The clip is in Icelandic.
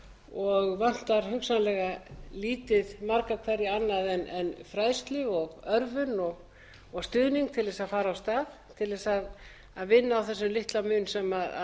og vantar hugsanlega lítið marga hverja annað en fræðslu og örvun og stuðning til þess að fara af stað til þess að vinna á þessum litla mun sem